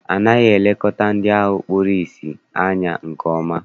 Anaghị elekọta ndị ahụ kpuru ìsì anya nke ọma.